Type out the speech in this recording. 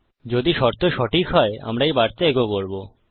যদি শর্ত সঠিক হয় আমরা এই বার্তা ইকো করবো